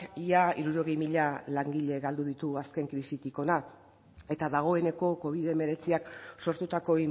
ia hirurogei mila langile galdu ditu azken krisitik hona eta dagoeneko covid hemeretziak sortutako